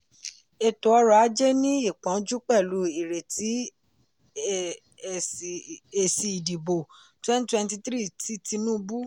ètò ọrọ̀ ajé ní ìpọnjú pẹ̀lú ìretí èsì ìdìbò 2023 ti tinubu.